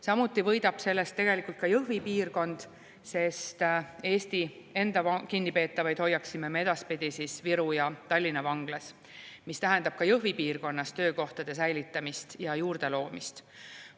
Samuti võidab sellest tegelikult ka Jõhvi piirkond, sest Eesti enda kinnipeetavaid hoiaksime me edaspidi Viru ja Tallinna vanglas, mis tähendab ka Jõhvi piirkonnas töökohtade säilitamist ja juurdeloomist.